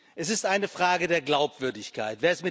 Es ist eine Frage der Glaubwürdigkeit.